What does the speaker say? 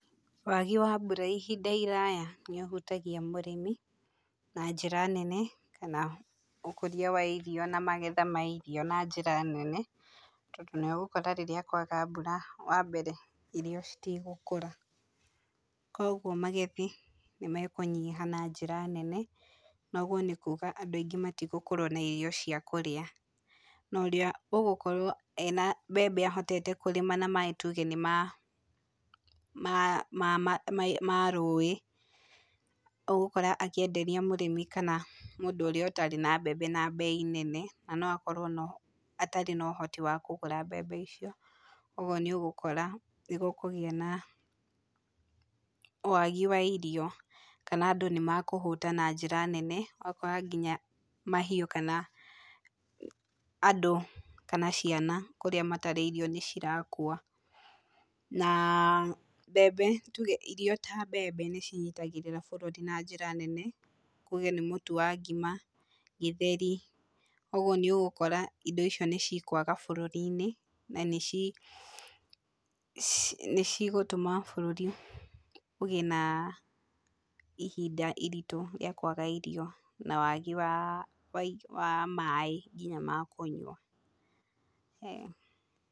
Wagi wa mbura ihinda iraya nĩũhutagia mũrĩmi na njĩra nene, kana ũkũria wa irio na magetha ma irio na njĩra nene. Tondũ nĩũgũkora rĩrĩa kwaga mbura wa mbere irio citigũkũra. Kogwo magethi nĩ mekũnyiha na njĩra nene, noguo nĩ kuuga andũ aingĩ matigũkorwo na irio cia kũrĩa. Na ũrĩa ũgũkorwo ena mbembe ahotete kũrĩma na maaĩ tuuge nĩ ma rũũĩ, ũgũkora akĩenderia mũrĩmi kana mũndũ ũrĩa ũtarĩ na mbembe na mbei nene, na no akorwo atarĩ na ũhoti wa kũgũra mbembe icio. Ũguo nĩ ũgũkora nĩ gũkũgĩa na waagi wa irio, kana andũ nĩ makũhũta na njĩra nene, ũgakora nginya mahiũ, kana andũ kana ciana kũrĩa matarĩ irio nĩ cirakua. Na mbembe, tuge irio ta mbembe nĩ cinyitagĩrĩra bũrũri na njĩra nene. Tuge nĩ mũtu wa ngima, gĩtheri, ũguo nĩ ũgũkora indo icio nĩ cikwaga bũrũri-inĩ, na nĩ cigũtũma bũrũri ũgĩe na ihinda iritũ rĩa kwaga irio na waagi wa maaĩ nginya ma kũnyua.